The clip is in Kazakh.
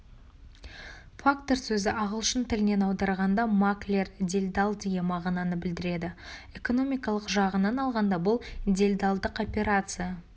фактор сөзі ағылшын тілінен аударғанда маклер делдал деген мағынаны білдіреді экономикалық жағынан алғанда бұл делдалдық операция